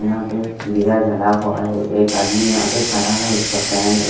यहां पे दिया जला हुआ है एक आदमी यहां पे खड़ा है उसका पैंट .